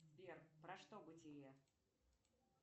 сбер про что бытие